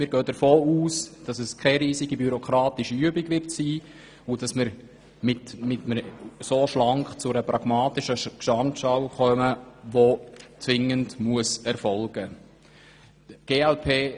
Wir gehen davon aus, dies werde keine riesige bürokratische Übung, und dass wir so schlank zu einer pragmatischen Gesamtschau kommen, die zwingend erfolgen muss.